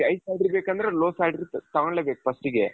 high salary ಬೇಕಂದ್ರೆ low salary ತಗೊಳ್ಳೆಬೇಕು first ಗೆ .